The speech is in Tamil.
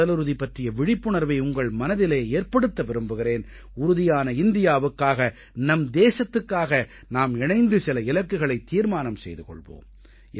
உடலுறுதி பற்றிய விழிப்புணர்வை உங்கள் மனதிலே ஏற்படுத்த விரும்புகிறேன் உறுதியான இந்தியாவுக்காக நம் தேசத்துக்காக நாம் இணைந்து சில இலக்குகளைத் தீர்மானம் செய்து கொள்வோம்